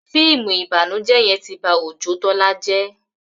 fíìmù ìbànújẹ yén tí bá Ojó Tola jé